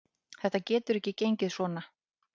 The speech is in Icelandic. Þetta getur ekki gengið svona.